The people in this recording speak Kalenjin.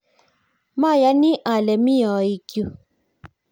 mayoni ale mi ooikyu